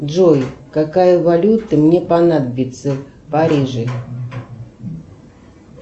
джой какая валюта мне понадобится в париже